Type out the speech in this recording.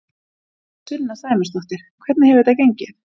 Sunna Sæmundsdóttir: Hvernig hefur þetta gengið?